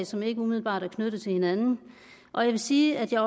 som ikke umiddelbart er knyttet til hinanden og jeg vil sige at jeg